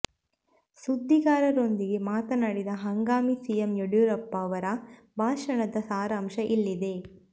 ಸುದ್ದಿಗಾರರೊಂದಿಗೆ ಮಾತನಾಡಿದ ಹಂಗಾಮಿ ಸಿಎಂ ಯಡಿಯೂರಪ್ಪ ಅವರ ಭಾಷಣದ ಸಾರಾಂಶ ಇಲ್ಲಿದೆ